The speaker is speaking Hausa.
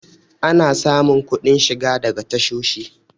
ana samun kuɗin shiga daga tashoshi